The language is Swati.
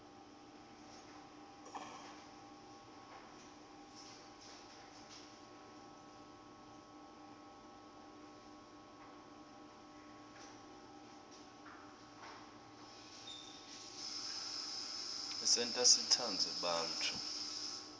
isenta sitsandze bantfu